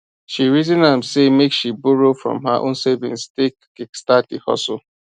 she reason am say make she borrow from her own savings take kickstart the hustle